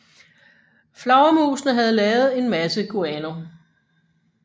Flagermusene havde lavet en masse guano